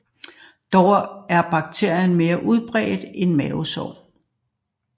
Dog er bakterien mere udbredt end mavesår